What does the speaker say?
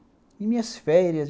E minhas férias?